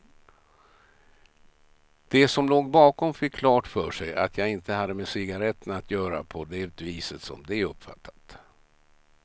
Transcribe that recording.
De som låg bakom fick klart för sig att jag inte hade med cigaretterna att göra på det viset som de uppfattat.